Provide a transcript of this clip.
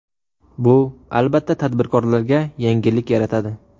Bu, albatta, tadbirkorlarga yengillik yaratadi.